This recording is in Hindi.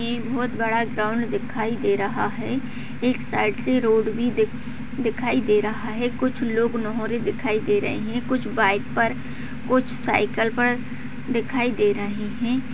बहुत बड़ा ग्राउन्ड दिखाई दे रहा है एक साइड से रोड भी दी दिखाई दे रहा है कुछ लोग नोहरे दिखाई दे रहे है कुछ बाइक पर कुछ साइकिल पर दिखाई दे रहे है।